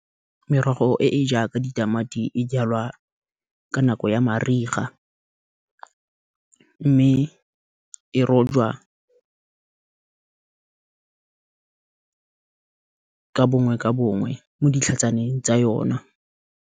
Merogo e e jaaka ditamati e jalwa ka nako ya mariga mme e rojwa ka bongwe ka bongwe mo ditlhatsaneng tsa yona.